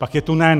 Pak je tu NEN.